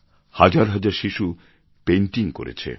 হাজার হাজার শিশু পেইণ্টিং করেছে